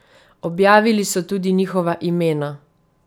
Objavili so tudi njihova imena.